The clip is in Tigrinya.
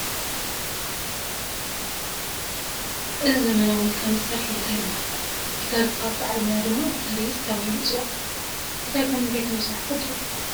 እዚ ዘመናዊ ሙዚቃ መሳርሒ ጊታር ይበሃል፡፡ ጊታር ዝፃወት በዓል ሞያ ድማ ጊታሪስት ተባሂሉ ይፅዋዕ፡፡ ጊታር ካብ ምንታይ ከምዝስራሕ ትፈልጡ ዶ?